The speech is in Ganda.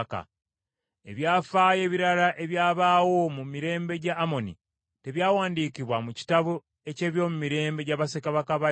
Ebyafaayo ebirala ebyabaawo mu mirembe gya Amoni, tebyawandiikibwa mu kitabo eky’ebyomumirembe gya bassekabaka ba Yuda?